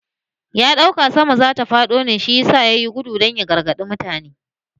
Ya dauka sama zata fado ne shi ne yayi gudu dan ya gargade kowa da kowa